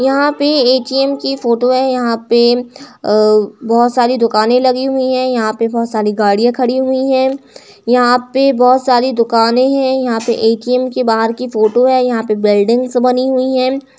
यहाँ पे एटीएम की फोटो है। यहाँ पे अ बहुत सारी दुकानें लगी हुई है। यहाँ पे बहुत सारी गाड़िया खड़ी हुई है। यहाँ पे बहुत सारी दुकानें हैं। यहाँ पे एटीएम के बाहर की फोटो है। यहाँ पे बिल्डिंग्स बनी हुई है।